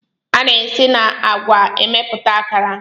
A na-esi na agwa emepụta akara.